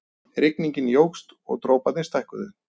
Rigningin jókst og droparnir stækkuðu.